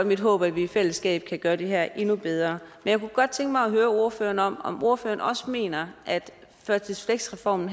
mit håb at vi i fællesskab kan gøre det her endnu bedre jeg kunne godt tænke mig at høre ordføreren om om ordføreren også mener at førtids fleks reformen